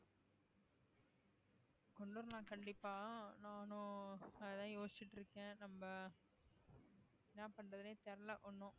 கண்டிப்பா நானும் அதான் யோசிச்சிட்டு இருக்கேன் நம்ம என்ன பண்றதுன்னே தெரியலே ஒண்ணும்